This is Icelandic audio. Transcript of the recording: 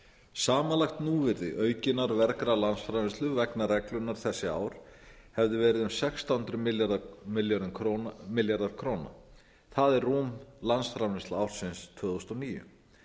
samanlagt núvirði aukinnar vergrar landsframleiðslu vegna reglunnar þessi ár hefði verið um sextán hundruð milljarðar króna það er rúm landsframleiðsla ársins tvö þúsund og níu